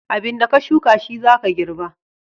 Abin da ka shuka shi za ka girba.